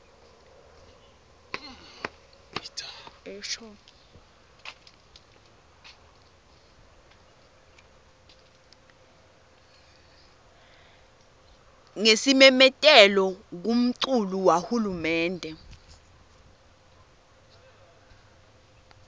ngesimemetelo kumculu wahulumende